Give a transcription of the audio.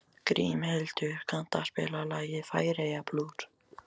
Grímhildur, kanntu að spila lagið „Færeyjablús“?